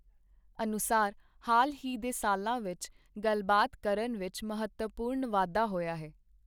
ਅਨੁਸਾਰ ਹਾਲ ਹੀ ਦੇ ਸਾਲਾਂ ਵਿੱਚ ਗੱਲਬਾਤ ਕਰਨ ਵਿੱਚ ਮਹੱਤਵਪੂਰਨ ਵਾਧਾ ਹੋਇਆ ਹੈ।